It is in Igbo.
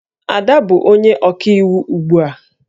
Ada bụ onye ọkaiwu ugbu a